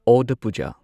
ꯑꯣꯗ ꯄꯨꯖꯥ